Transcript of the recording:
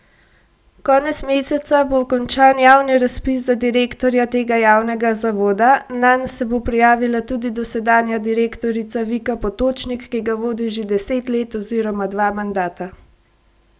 Konec meseca bo končan javni razpis za direktorja tega javnega zavoda, nanj se bo prijavila tudi dosedanja direktorica Vika Potočnik, ki ga vodi že deset let oziroma dva mandata.